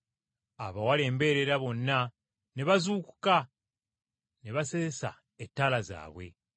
“Abawala embeerera bonna ne bazuukuka ne baseesa ettaala zaabwe.